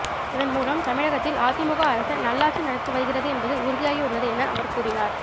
இதன் மூலம் தமிழகத்தில் அதிமுக அரசு நல்லாட்சி நடத்தி வருகிறது என்பது உறுதியாகியுள்ளது என அவர் கூறினார்